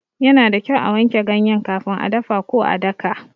Yana da kyau a wanke ganye kafin a dafa ko a daka.